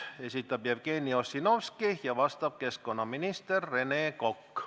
Esitab Jevgeni Ossinovski ja vastab keskkonnaminister Rene Kokk.